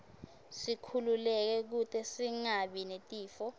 sikhululeke kute singabi netifo